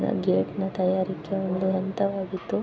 ನನ್ ಗೇಟ್ನ ತಯಾರಿಕೆ ಒಂದು ಹಂತವಾಗಿದ್ದು--